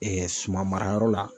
suma marayɔrɔ la.